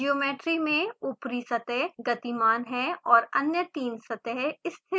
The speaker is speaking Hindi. ज्योमेट्री में ऊपरी सतह गतिमान है और अन्य तीन सतहें स्थिर हैं